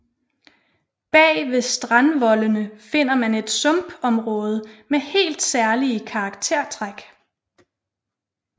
Bag ved strandvoldene finder man et sumpområde med helt særlige karaktertræk